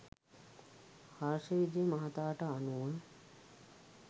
හර්ෂ විජය මහතාට අනුව